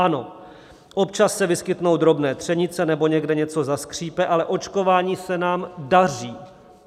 Ano, občas se vyskytnou drobné třenice nebo někde něco zaskřípe, ale očkování se nám daří.